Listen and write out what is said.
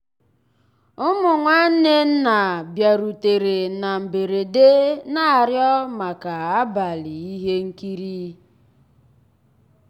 ụmụ́ nnwànné nná bìàrùtérè ná mbérèdé ná-àrịọ́ màkà àbàlí íhé nkírí.